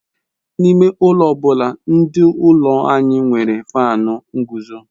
Ime ụlọ ọ bụla dị n'ụlọ anyị nwere Faanu nguzo